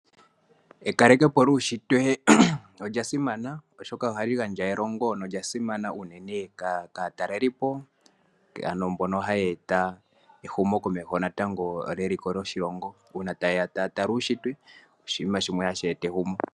Ekaleke po lyuushitwe olya simana, oshoka ohali gandja elongo nolya simana unene kaatalelipo mbono haye eta ehumokomeho natango lyeliko lyoshilongo uuna taya tala uushitwe. Oshinima shimwe hashi eta ehumokomeho.